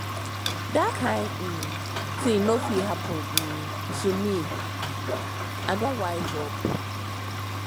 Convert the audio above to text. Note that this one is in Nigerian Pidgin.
dat kain um tin no fit happen um to me ahain i don wise up